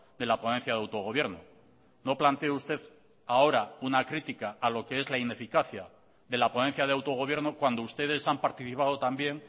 de la ponencia de autogobierno no plantee usted ahora una crítica a lo que es la ineficacia de la ponencia de autogobierno cuando ustedes han participado también